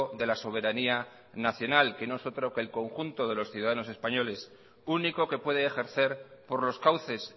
de la soberanía nacional que no es otro que el conjunto de los ciudadanos españoles único que puede ejercer por los cauces